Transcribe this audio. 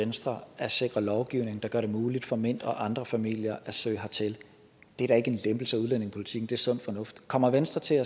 venstre at sikre en lovgivning der gør det muligt for mint og andre familier at søge hertil det er da ikke en lempelse af udlændingepolitikken det er sund fornuft kommer venstre til